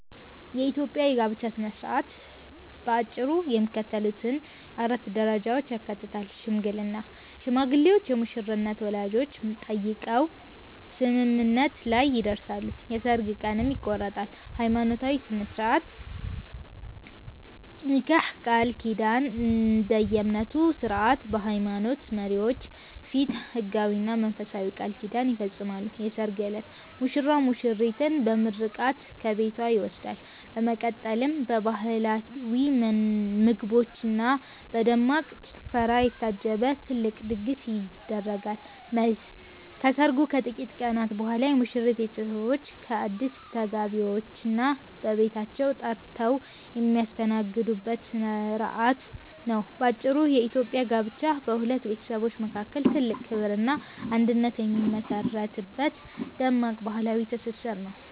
የኢትዮጵያ የጋብቻ ሥነ ሥርዓት በአጭሩ የሚከተሉትን 4 ደረጃዎች ያካትታል፦ ሽምግልና፦ ሽማግሌዎች የሙሽሪትን ወላጆች ጠይቀው ስምምነት ላይ ይደርሳሉ፤ የሠርግ ቀንም ይቆረጣል። ሃይማኖታዊ ሥርዓት (ኒካህ/ቃል ኪዳን)፦ እንደየእምነቱ ሥርዓት በሃይማኖት መሪዎች ፊት ሕጋዊና መንፈሳዊ ቃል ኪዳን ይፈጸማል። የሠርግ ዕለት፦ ሙሽራው ሙሽሪትን በምርቃት ከቤቷ ይወስዳል፤ በመቀጠልም በባህላዊ ምግቦችና በደማቅ ጭፈራ የታጀበ ትልቅ ድግስ ይደረጋል። መልስ፦ ከሰርጉ ከጥቂት ቀናት በኋላ የሙሽሪት ቤተሰቦች አዲስ ተጋቢዎችን በቤታቸው ጠርተው የሚያስተናግዱበት ሥርዓት ነው። ባጭሩ፤ የኢትዮጵያ ጋብቻ በሁለት ቤተሰቦች መካከል ትልቅ ክብርና አንድነት የሚመሠረትበት ደማቅ ባህላዊ ትስስር ነው።